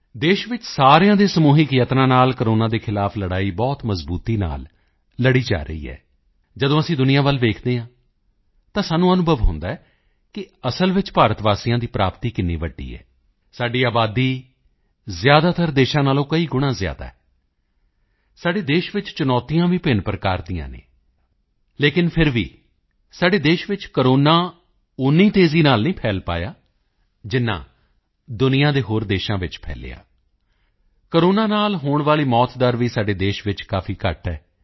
ਦੇਸ਼ ਵਿੱਚ ਸਾਰਿਆਂ ਦੇ ਸਮੂਹਿਕ ਪ੍ਰਯਤਨਾਂ ਨਾਲ ਕੋਰੋਨਾ ਦੇ ਖ਼ਿਲਾਫ਼ ਲੜਾਈ ਬਹੁਤ ਮਜ਼ਬੂਤੀ ਨਾਲ ਲੜੀ ਜਾ ਰਹੀ ਹੈ ਜਦੋਂ ਅਸੀਂ ਦੁਨੀਆ ਵੱਲ ਦੇਖਦੇ ਹਾਂ ਤਾਂ ਸਾਨੂੰ ਅਨੁਭਵ ਹੁੰਦਾ ਹੈ ਕਿ ਅਸਲ ਵਿੱਚ ਭਾਰਤਵਾਸੀਆਂ ਦੀ ਉਪਲੱਬਧੀ ਕਿੰਨੀ ਵੱਡੀ ਹੈ ਸਾਡੀ ਆਬਾਦੀ ਜ਼ਿਆਦਾਤਰ ਦੇਸ਼ਾਂ ਨਾਲੋਂ ਕਈ ਗੁਣਾ ਜ਼ਿਆਦਾ ਹੈ ਸਾਡੇ ਦੇਸ਼ ਵਿੱਚ ਚੁਣੌਤੀਆਂ ਵੀ ਭਿੰਨ ਪ੍ਰਕਾਰ ਦੀਆਂ ਹਨ ਲੇਕਿਨ ਫਿਰ ਵੀ ਸਾਡੇ ਦੇਸ਼ ਵਿੱਚ ਕੋਰੋਨਾ ਓਨੀ ਤੇਜ਼ੀ ਨਾਲ ਨਹੀਂ ਫੈਲ ਪਾਇਆ ਜਿੰਨਾ ਦੁਨੀਆ ਦੇ ਹੋਰ ਦੇਸ਼ਾਂ ਵਿੱਚ ਫੈਲਿਆ ਕੋਰੋਨਾ ਨਾਲ ਹੋਣ ਵਾਲੀ ਮੌਤ ਦਰ ਵੀ ਸਾਡੇ ਦੇਸ਼ ਵਿੱਚ ਕਾਫੀ ਘੱਟ ਹੈ